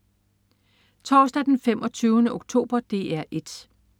Torsdag den 25. oktober - DR 1: